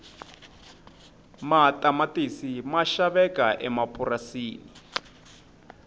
matamatisi ma xaveka emapurasini